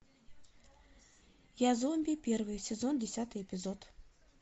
я зомби первый сезон десятый эпизод